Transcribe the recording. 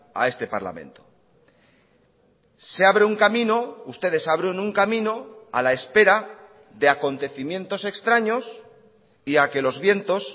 a este parlamento se abre un camino ustedes abren un camino a la espera de acontecimientos extraños y a que los vientos